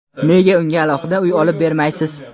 Nega unga alohida uy olib bermaysiz?.